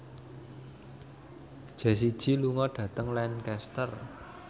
Jessie J lunga dhateng Lancaster